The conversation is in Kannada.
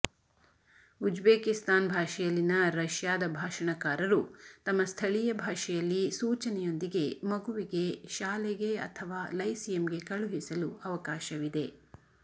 ಉಜ್ಬೇಕಿಸ್ತಾನ್ ಭಾಷೆಯಲ್ಲಿನ ರಷ್ಯಾದ ಭಾಷಣಕಾರರು ತಮ್ಮ ಸ್ಥಳೀಯ ಭಾಷೆಯಲ್ಲಿ ಸೂಚನೆಯೊಂದಿಗೆ ಮಗುವಿಗೆ ಶಾಲೆಗೆ ಅಥವಾ ಲೈಸಿಯಂಗೆ ಕಳುಹಿಸಲು ಅವಕಾಶವಿದೆ